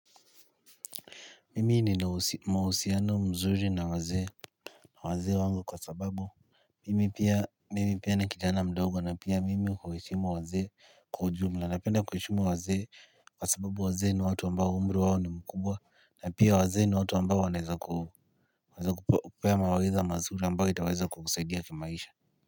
Mimi ni mahusiano mzuri na wazee wazee wangu kwa sababu Mimi pia mimi pia na kijana mdogo na pia mimi kuhishimu waze kwa ujumla napenda kuhishimu waze kwa sababu wazee ni watu ambao umri wawo ni mkubwa na pia waze ni watu ambao waneza kuhu waze kupaya mawaidha mazuri ambayo itaweza kukusaidia kimaisha.